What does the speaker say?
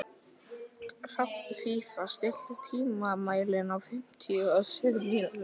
Hrafnfífa, stilltu tímamælinn á fimmtíu og sjö mínútur.